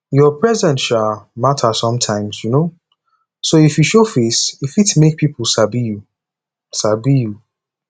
your presence um matter sometimes um so if you show face e fit make pipo sabi you sabi you